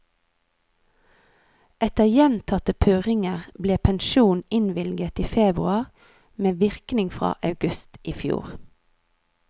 Etter gjentatte purringer ble pensjon innvilget i februar med virkning fra august i fjor.